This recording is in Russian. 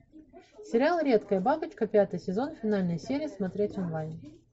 сериал редкая бабочка пятый сезон финальная серия смотреть онлайн